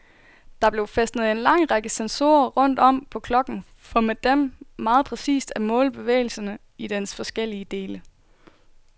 Der blev fæstnet en lang række sensorer rundt om på klokken for med dem meget præcist at måle bevægelserne i dens forskellige dele.